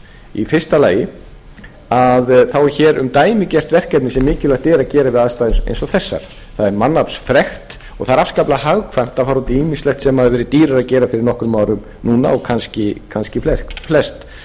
í fyrsta lagi er um dæmigert verkefni sem mikilvægt er að gera við aðstæður eins og þessar það er mannaflsfrekt og það er afskaplega hagkvæmt að fara út í ýmislegt sem hefur verið dýrara að gera fyrir nokkrum árum núna og kannski flest